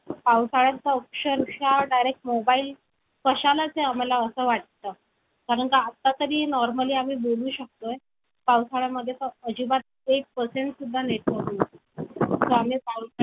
पण आमच्या पंगतीला अ पंगतीला कुटुंबातील माणसांपेक्षा बाहेरची माणसं अधिक संख्येने असायची. आजूबाजूच्या लोकांमध्ये एक आदर्श जोडपे असे त्यांचे वर्णन केले जाई. वडिलांपेक्षा माझ्या आईचे कुळ अधिक उच्च मानले जात असे.